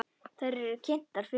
Þær eru kynntar fyrir honum.